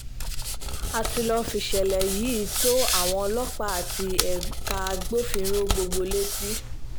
a ti lọ́ọ́ fìṣẹ̀lẹ̀ yìí tó àwọn ọlọ́pàá àti ẹ̀ka agbófinró gbogbo létí